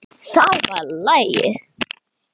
Það var lagið!